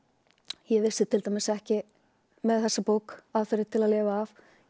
ég vissi til dæmis ekki með þessa bók aðferðir til að lifa af